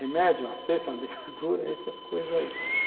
Remédio, uma cesta, uma dentadura, essas coisas aí.